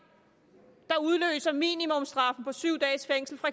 der udløser en minimumsstraf på syv dages fængsel for